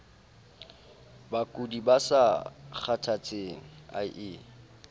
bakudi ba sa kgathatseng ie